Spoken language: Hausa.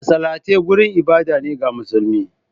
Masallatai wurin ibada ne ga musulmi